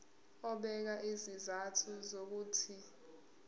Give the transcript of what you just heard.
ebeka izizathu zokuthi